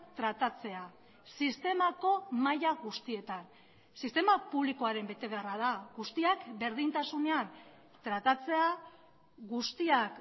tratatzea sistemako maila guztietan sistema publikoaren betebeharra da guztiak berdintasunean tratatzea guztiak